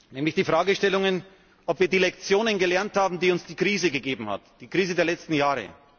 Nämlich bei der Fragestellung, ob wir die Lektionen gelernt haben, die uns die Krise erteilt hat, die Krise der letzten Jahre.